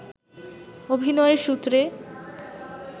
অভিনয়ের সূত্রে